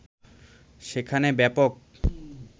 সেখানে ব্যাপক